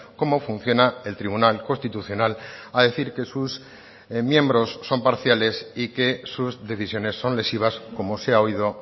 cómo funciona el tribunal constitucional a decir que sus miembros son parciales y que sus decisiones son lesivas como se ha oído